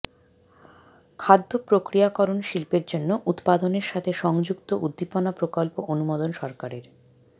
খাদ্য প্রক্রিয়াকরণ শিল্পের জন্য উত্পাদনের সাথে সংযুক্ত উদ্দীপনা প্রকল্প অনুমোদন সরকারের